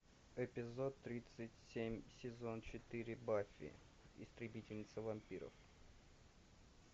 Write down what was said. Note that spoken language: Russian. эпизод тридцать семь сезон четыре баффи истребительница вампиров